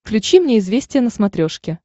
включи мне известия на смотрешке